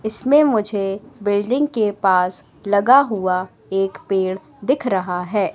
इसमें मुझे बिल्डिंग के पास लगा हुआ एक पेड़ दिख रहा है।